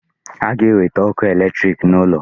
A ga-ewete ọkụ electric n'ụlọ